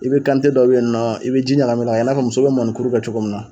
I bi dɔw be yen nɔ i bi ji ɲagamin o n'a, i b'a fɔ muso bi mɔnikuru kɛ cogo min na